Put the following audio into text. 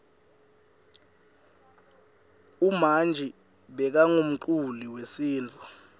umanji bekangumculi wesintfu